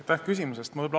Aitäh küsimuse eest!